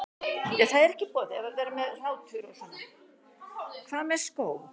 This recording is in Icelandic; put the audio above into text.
Hvað með skó?